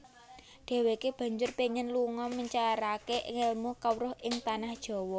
Dhèwèké banjur péngin lunga mencaraké ngèlmu kawruh ing Tanah Jawa